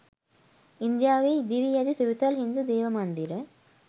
ඉන්දියාවේ ඉදිවී ඇති සුවිසල් හින්දු දේවමන්දිර